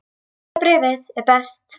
Sjötta bréfið er best.